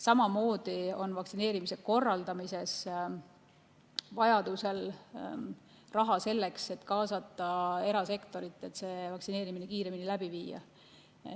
Samamoodi on vaktsineerimise korraldamisel vajaduse korral raha selleks, et kaasata erasektor, et vaktsineerimine kiiremini läbi viia.